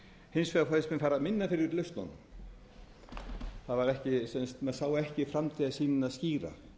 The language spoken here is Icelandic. hins vegar fannst mér fara minna fyrir lausnunum maður sá ekki framtíðarsýnina skýra